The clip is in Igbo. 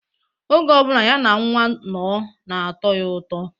Oge ọ bụla ya na nwa nno na-atọ ya ụtọ.